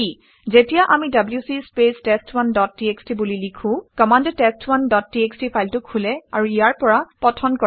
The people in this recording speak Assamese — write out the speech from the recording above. যেতিয়া আমি WC space test one dot TXT বুলি লিখোঁ কমাণ্ডে টেষ্ট1 ডট টিএক্সটি ফাইলটো খোলে আৰু ইয়াৰ পৰা পঠন কৰে